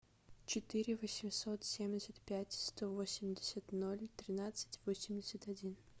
четыре восемьсот семьдесят пять сто восемьдесят ноль тринадцать восемьдесят один